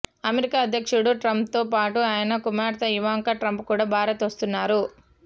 America అధ్యక్షుడు ట్రంప్తో పాటు ఆయన కుమార్తె ఇవాంకా ట్రంప్ కూడా భారత్ వస్తున్నారు